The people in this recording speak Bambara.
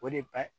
O de ba